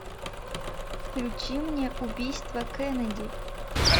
включи мне убийство кеннеди